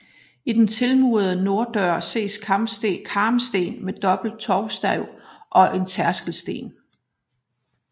I den tilmurede norddør ses karmsten med dobbelt tovstav og en tærskelsten